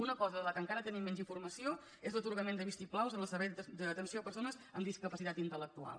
una cosa de què encara tenim menys informació és l’atorgament de vistiplaus en els serveis d’atenció a persones amb discapacitat intel·lectual